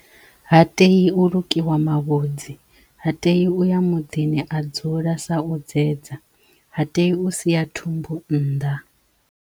Ha tei u lukiwa mavhudzi, ha tei uya muḓini a dzula sa u dzedza, ha tei u sia thumbu nnḓa.